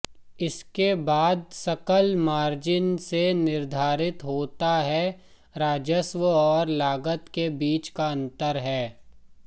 इसके बाद सकल मार्जिन से निर्धारित होता है राजस्व और लागत के बीच अंतर है